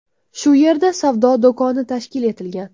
Shu yerda savdo do‘koni tashkil etilgan.